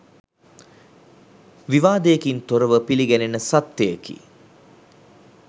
විවාදයකින් තොරව පිළිගැනෙන සත්‍යයකි.